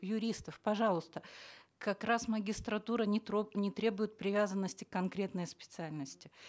юристов пожалуйста как раз магистратура не не требует привязанности к конкретной специальности